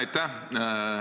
Aitäh!